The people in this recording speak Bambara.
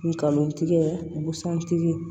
Ngalon tigɛ busantigi